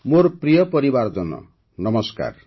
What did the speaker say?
ମୋର ପ୍ରିୟ ପରିବାରଜନ ନମସ୍କାର